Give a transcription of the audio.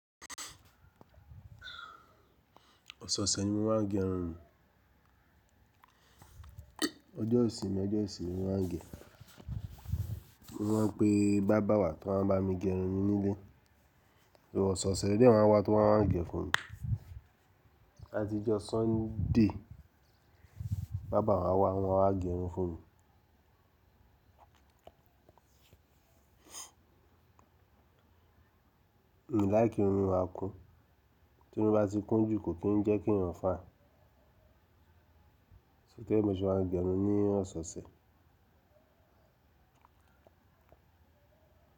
Ọ̀sẹ̀ ọ̀sẹ̀ ni mo máa ń gẹ irun mi. Ọjọ́ ìsìnmi ọjọ́ ìsìnyí mo máa ń gẹ. Wọ́n pe bábà wà tó máa ń bá mi gẹrun mi nílé. Ọ̀sọ̀sẹ̀ ló dẹ̀ máa ń wá tí wọ́n máa ń gẹ fun mi. Àtijọ́ Sunday bábà wà wá, wọ́n máa gẹ irun fun mi. Ǹ láìki kí irun mi ma kún. Tí irun bá ti kún jù, kò kì í jẹ́ kí èèyàn fàin. So tori ẹ mo ṣe máa ń gẹ irun ní ọ̀sẹ̀ ọ̀sẹ̀.